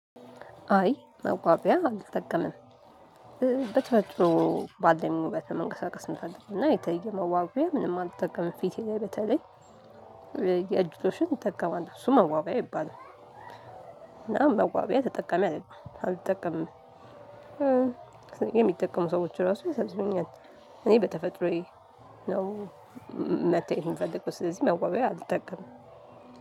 አይ መዋቢያ አልተጠቀምም። በተፈጥሮ ባለኝ ውበት ነው መንቀሳቀስ ምፈልገው እና የተለየ መዋቢያ ምንም አልተጠቀመም ፊቴ ላይ በተለይ የእጅ ሎሽን እጠቀማለው እሱ መዋቢያ አይባልም። እና መዋቢያ ተጠቀሚ አይደለሁም አልጠቀምም። የሚጠቀሙ ሰዎች ራሱ ይሳዝኑኛል። እኔ በተፈጥሮዬ ነው መታየቱን ምፈልገው ስለዚህ መዋቢያ አልጠቀምም።